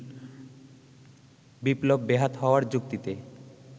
বিপ্লব বেহাত হওয়ার যুক্তিতে